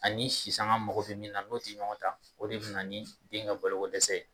Ani sisanga mago be min na, n'o te ɲɔgɔn ta, o de bina ni den ka balo ko dɛsɛ ye